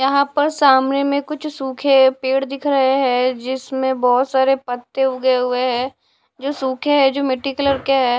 यहां पर सामने में कुछ सूखे पेड़ दिख रहे हैं जिसमें बहुत सारे पत्ते उगे हुए हैं जो सूखे हैं जो मिट्टी कलर के है।